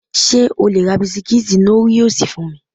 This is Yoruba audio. Ṣé o le ra bisikítì Nóríòsì fún mi?